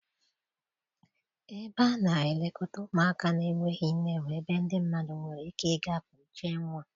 Ebe a na-elekọta ụmụaka na-enweghị nne bụ ebe ndị mmadụ nwere ike ịga kpuchie nwa.